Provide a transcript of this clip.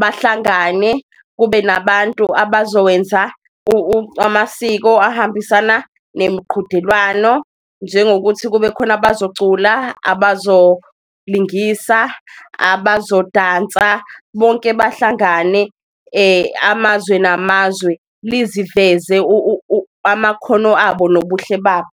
bahlangane kube nabantu abazowenza amasiko ahambisana nemiqhudelwano, njengokuthi ukuthi kube khona abazocula, abazolingisa, abazodansa. Bonke bahlangane amazwe namazwe liziveze amakhono abo nobuhle babo.